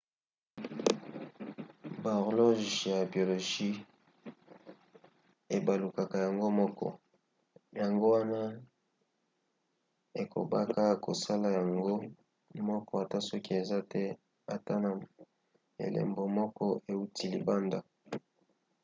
bahorloge ya biologie ebalukaka yango moko yango wana ekobaka kosala yango moko ata soki eza te ata na elembo moko euti libanda